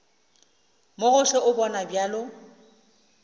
mo gohle o bonwa bjalo